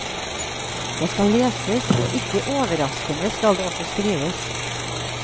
Det skal leses, og ikke overraskende skal det også skrives.